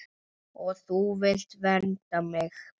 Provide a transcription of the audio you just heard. Og þú vilt vernda mig.